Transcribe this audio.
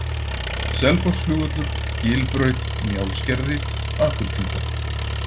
Selfossflugvöllur, Gilbraut, Njálsgerði, Akurtunga